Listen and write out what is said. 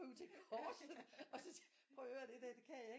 Krybe til korset og så sige prøv at høre det der det kan jeg ikke